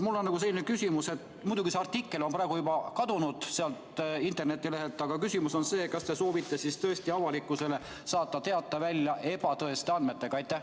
Muidugi on see artikkel praeguseks juba sealt internetilehelt kadunud, aga küsimus on see: kas te soovite siis tõesti saata avalikkusele teate ebatõeste andmetega?